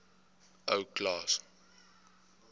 ou klaas